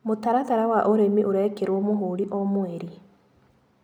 Mũtaratara wa ũrĩmĩ ũrekĩrwo mũhũri o mweri.